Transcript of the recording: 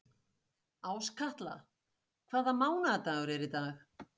Áskatla, hvaða mánaðardagur er í dag?